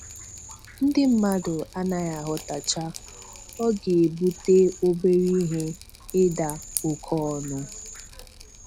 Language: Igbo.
Ndị mmadụ anaghị aghọtacha: Ọ ga-ebute obere ihe ịda oke ọnụ.